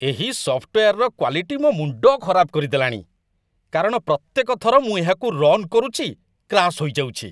ଏହି ସଫ୍ଟୱେୟାରର କ୍ୱାଲିଟି ମୋ ମୁଣ୍ଡ ଖରାପ କରିଦେଲାଣି, କାରଣ ପ୍ରତ୍ୟେକ ଥର ମୁଁ ଏହାକୁ ରନ୍ କରୁଛି, କ୍ରାସ ହୋଇଯାଉଛି।